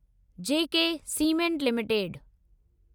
J K cement limited